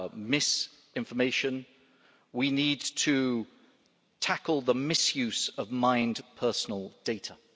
misinformation, and we need to tackle the misuse of mined personal data.